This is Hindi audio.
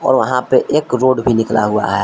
वहां पे एक रोड भी निकला हुआ है।